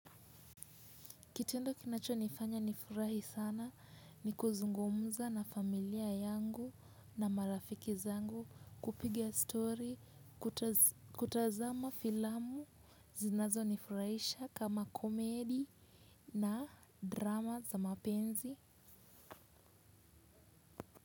Kitendo kinachonifanya nifurahi sana ni kuzungumza na familia yangu na marafiki zangu kupiga story kutazama filamu zinazonifurahisha kama komedi na drama za mapenzi.